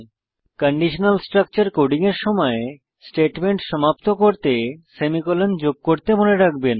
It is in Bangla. কন্ডিশনাল স্ট্রাকচার কোডিং এর সময় স্টেটমেন্ট সমাপ্ত করতে সেমিকোলন যোগ করতে মনে রাখবেন